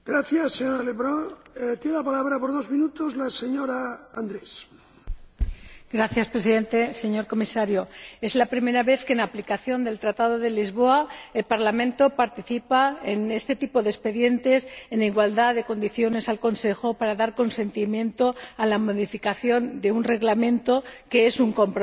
Señor Presidente, señor Comisario, es la primera vez que, en aplicación del Tratado de Lisboa, el Parlamento participa en este tipo de expedientes, en igualdad de condiciones con el Consejo, para dar consentimiento a la modificación de un Reglamento que es un compromiso, como decía la ponente, bien planificado.